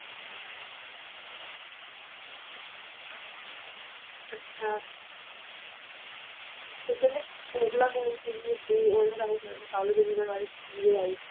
ਅੱਛਾ ਤੇ ਕਹਿੰਦੇ Kokla ਕੌਣ ਸੀਗੀ ਤੇ ਉਹਨੇ Raja Rasalu ਦੇ ਜੀਵਨ ਬਾਰੇ ਕੀ ਲਿਆਏ